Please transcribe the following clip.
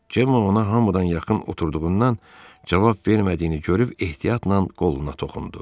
Cem ona hamıdan yaxın oturduğundan cavab vermədiyini görüb ehtiyatla qoluna toxundu.